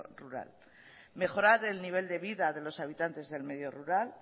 rural mejorar el nivel de vida de los habitantes del medio rural